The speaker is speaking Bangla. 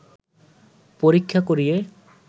পরীক্ষা করিয়ে